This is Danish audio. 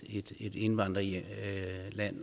indvandrerland